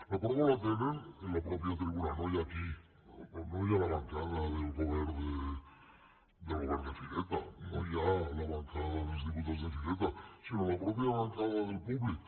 la prova la tenen en la mateixa tribuna no ja aquí no ja en la bancada del govern de fireta no ja en la bancada dels diputats de fireta sinó en la mateixa bancada del públic